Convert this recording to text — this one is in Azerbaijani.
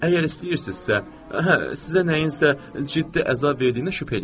Əgər istəyirsinizsə, hə, sizə nəyinsə ciddi əzab verdiyinə şübhə eləyirəm.